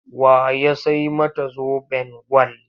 Wa ya sai mata zoben gwal?